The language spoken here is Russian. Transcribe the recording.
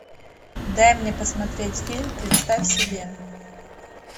дай мне посмотреть фильм представь себе